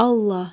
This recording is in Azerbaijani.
Allah!